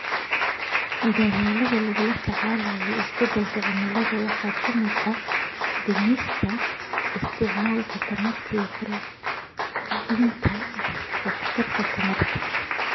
Dadaallada lagula tacaalayo isbeddelka cimilada waxaa ka mid ah dhimista isticmaalka tamarta iyo kordhinta waxtarka tamarta.